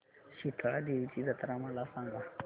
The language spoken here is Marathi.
शितळा देवीची जत्रा मला सांग